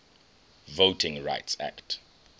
voting rights act